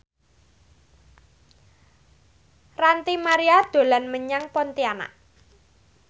Ranty Maria dolan menyang Pontianak